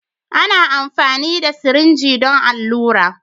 Ana amfani da sirinji don allura.